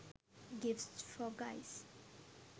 gifts for guys